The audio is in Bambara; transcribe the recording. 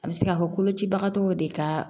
An bɛ se ka fɔ kolocibagatɔw de ka